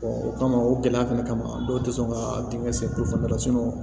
o kama o gɛlɛya fɛnɛ kama dɔw te sɔn ka denkɛ sen tulo fanga la